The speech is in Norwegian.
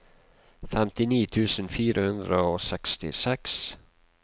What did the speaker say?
femtini tusen fire hundre og sekstiseks